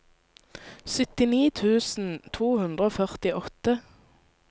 syttini tusen to hundre og førtiåtte